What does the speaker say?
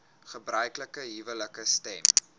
gebruiklike huwelike stem